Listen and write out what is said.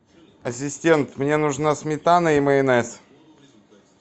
ассистент мне нужна сметана и майонез